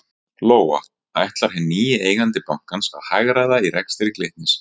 Lóa: Ætlar hinn nýi eigandi bankans að hagræða í rekstri Glitnis?